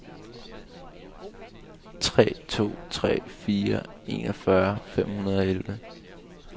tre to tre fire enogfyrre fem hundrede og elleve